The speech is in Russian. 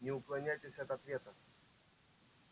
не уклоняйтесь от ответа